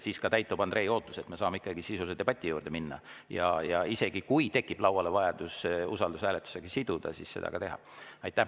Siis täitub ka Andrei ootus, et me saame ikkagi sisulise debati juurde minna, ja isegi kui tekib vajadus usaldushääletusega siduda, siis seda ka teha.